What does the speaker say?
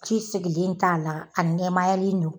ji sigilen t'a la a nɛmayalen don.